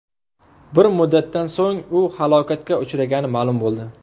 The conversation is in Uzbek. Bir muddatdan so‘ng u halokatga uchragani ma’lum bo‘ldi.